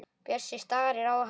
Bjössi starir á hana.